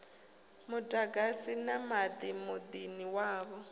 muḓagasi na maḓi muḓini wavho